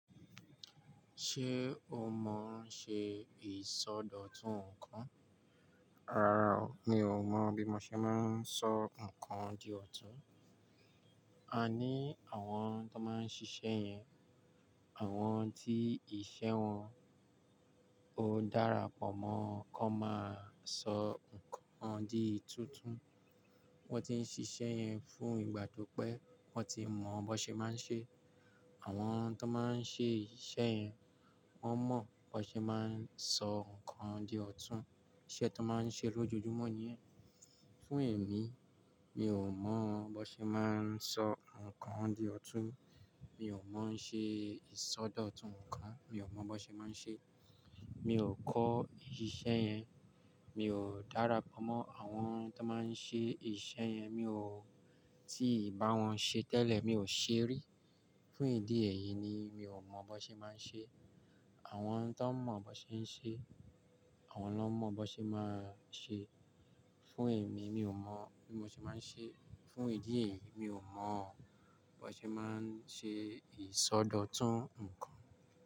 Ṣé o mọ ọ́n ṣe ìsọdọ̀tun nǹkan? Rárá o, mi ò mọ̀ bí mo ṣe máa ń sọ nǹkan di ọ̀tún. A ní àwọn tó máa ń ṣiṣẹ́ yẹn, àwọn tí iṣẹ́ wọn ó dára pọ̀ mọ́ wọn kó máa sọ nǹkan di tútùn. Wọ́n ti ń ṣiṣẹ́ yẹn fún ìgbà tó pé wọ́n ti mọ̀ bó ṣe máa ń ṣe. Àwọn tó máa ń ṣe iṣẹ́ yẹn, wọ́n mọ̀ bó ṣe máa ń sọ nǹkan di ọ̀tún. Iṣẹ́ tó máa ń ṣe lójoojúmọ́ nìyẹn. Fún èmi, mi ò mọ̀ bó ṣe máa ń sọ nǹkan di ọ̀tún. Mi ò mọ̀ ń ṣe ìsọdọ̀tun nǹkan. Mi ò mọ̀ bó ṣe máa ń ṣe. Mi ò kọ́ ìṣiṣẹ́ yẹn. Mi ò dára pọ̀ mọ́ àwọn tó máa ń ṣe ìṣe yẹn. Mi ò tíì bá wọn ṣe tẹ́lẹ̀. Mi ò ṣe rí. Fún ìdí èyí ni mi ò mọ̀ bó ṣe máa ń ṣe. Àwọn tó mọ̀ bó ṣe ń ṣe, àwọn ló mọ̀ bó ṣe máa ń ṣe. Fún èmi, mi ò mọ̀ bí mo ṣe máa ń ṣe. Fún ìdí èyí, mi ò mọ̀ bó ṣe máa ń ṣe ìsọdọ̀tun nǹkan.